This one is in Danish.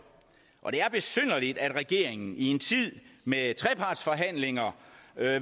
og det er besynderligt at regeringen i en tid med trepartsforhandlinger